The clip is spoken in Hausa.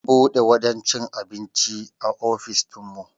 An bude wajen cin abinci a ofis dinmu